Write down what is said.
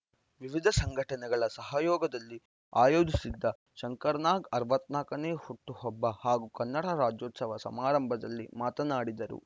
ವಿವಿಧ ಸಂಘಟನೆಗಳ ಸಹಯೋಗದಲ್ಲಿ ಆಯೋಜಿಸಿದ್ದ ಶಂಕರ್‌ನಾಗ್‌ ಅರವತ್ತ್ ನಾಲ್ಕನೇ ಹುಟ್ಟುಹಬ್ಬ ಹಾಗೂ ಕನ್ನಡ ರಾಜ್ಯೋತ್ಸವ ಸಮಾರಂಭದಲ್ಲಿ ಮಾತನಾಡಿದರು